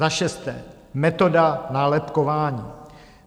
Za šesté metoda nálepkování.